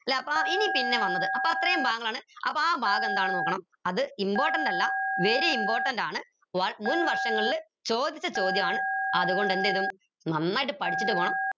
ല്ലെ അപ്പൊ ഇനി പിന്നെ വന്നത് അപ്പൊ അത്രയും ഭാഗങ്ങളാണ് ആപ്പോ ആ ഭാഗം എന്താണെന്ന് നോക്കണം അത് important അല്ല very important ആണ് മുൻവർഷങ്ങളിൽ ചോദിച്ച ചോദ്യമാണ് അത്കൊണ്ട് എന്തിടും നന്നായിട്ട് പഠിച്ചിട്ട് പോണം